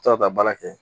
To ka taa baara kɛ